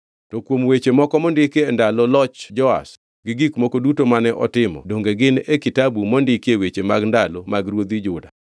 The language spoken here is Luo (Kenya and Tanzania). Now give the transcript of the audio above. To kuom weche moko mondiki e ndalo loch Joash gi gik moko duto mane otimo donge gin e kitabu mondikie weche mag ndalo mag ruodhi Juda?